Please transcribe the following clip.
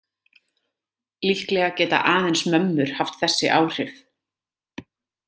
Líklega geta aðeins mömmur haft þessi áhrif.